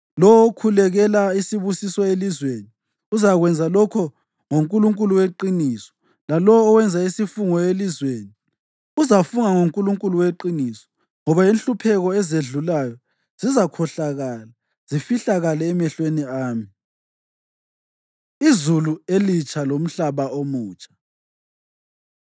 Lowo okhulekela isibusiso elizweni uzakwenza lokho ngoNkulunkulu weqiniso; lalowo owenza isifungo elizweni, uzafunga ngoNkulunkulu weqiniso. Ngoba inhlupheko ezedlulayo zizakhohlakala zifihlakale emehlweni ami.” Izulu Elitsha Lomhlaba Omutsha